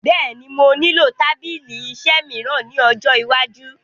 Bẹ́è ni, mo nílò tábìlì-iṣẹ́ mìíràn ní ọjọ́ iwájú.